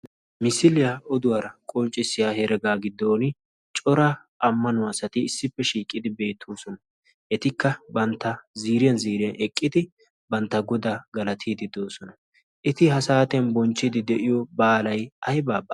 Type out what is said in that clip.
misiliyaa oduwaara qonccissiya heregaa giddon cora ammanuwaa sati issippe shiiqqidi beettuusona. etikka bantta ziiriyan ziiriyan eqqidi bantta godaa galatiidi doosona eti ha saatin bonchchidi de'iyo baalay aybee?